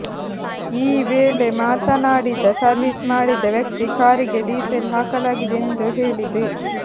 ಈ ವೇಳೆ ಮಾಡನಾಡಿದ ಸರ್ವಿಸ್ ಮಾಡಿದ ವ್ಯಕ್ತಿ ಕಾರಿಗೆ ಡೀಸೆಲ್ ಹಾಕಲಾಗಿದೆ ಎಂದು ಹೇಳಿದೆ